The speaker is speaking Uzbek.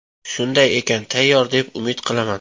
Shunday ekan, tayyor deb umid qilaman.